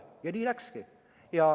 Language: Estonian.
Ja nii läkski.